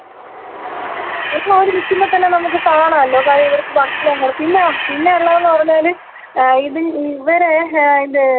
പിന്നെ അവിടെ നില്‍ക്കുമ്പോള്‍ ത്തന്നെ നമുക്ക് കാണാലോ *നോട്ട്‌ ക്ലിയർ* ഇവർക്ക് ഭക്ഷണം കൊട് പിന്നാ പിന്നെയുള്ളതെന്ന് പറഞ്ഞാല് ഏ ഇതിൻ ഇവരെ ഏ ഇത് തൊറന്നു വിടും